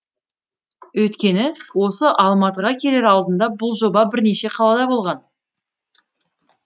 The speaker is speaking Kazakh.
өйткені осы алматыға келер алдында бұл жоба бірнеше қалада болған